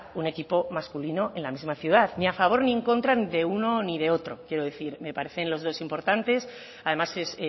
un equipo masculino en la misma ciudad ni a favor ni en contra ni de uno ni de otros quiero decir me parecen los dos importantes además es